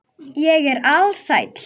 Ég er alsæll.